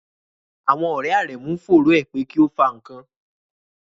Àwọn ọ̀rẹ̀ Áremú ǹ fòrọ è pe kí o fà nkàn.